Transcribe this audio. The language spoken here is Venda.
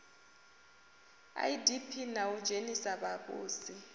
idp na u dzhenisa vhavhusi